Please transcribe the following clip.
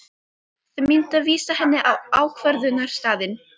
Þau myndu vísa henni á ákvörðunarstaðinn.